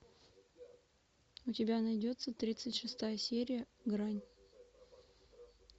у тебя найдется тридцать шестая серия грань